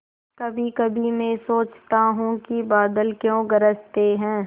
कभीकभी मैं सोचता हूँ कि बादल क्यों गरजते हैं